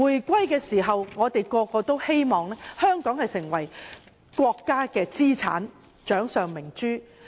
大家在香港回歸時都希望香港成為國家的資產或掌上明珠。